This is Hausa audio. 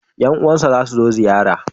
yan uwan shi za su zo ziyara